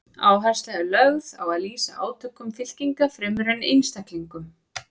Áhersla er lögð á að lýsa átökum fylkinga fremur en einstaklingum.